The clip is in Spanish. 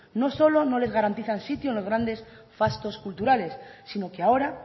no solo no les garantizan sitio en los grandes fastos culturales sino que ahora